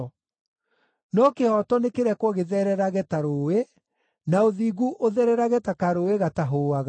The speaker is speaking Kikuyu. No kĩhooto nĩkĩrekwo gĩthererage ta rũũĩ, na ũthingu ũthererage ta karũũĩ gatahũũaga.